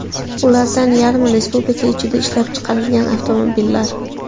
Ulardan yarmi – Respublika ichida ishlab chiqarilgan avtomobillar.